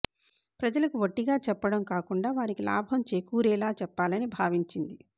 ప్రజలకు వట్టిగా చెప్పడం కాకుండా వారికి లాభం చేకూరేలా చెప్పాలని భావించింది